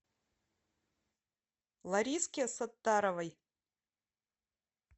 лариске саттаровой